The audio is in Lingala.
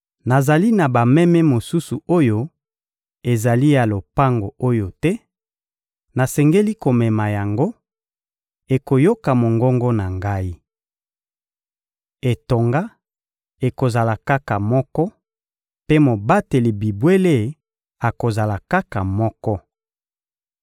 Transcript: Nazali na bameme mosusu oyo ezali ya lopango oyo te. Nasengeli komema yango; ekoyoka mongongo na Ngai. Etonga ekozala kaka moko, mpe mobateli bibwele akozala kaka moko.